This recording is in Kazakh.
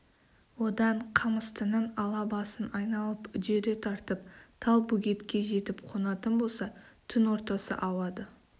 одан қамыстының ала басын айналып үдере тартып талбөгетке жетіп қонатын болса түн ортасы ауады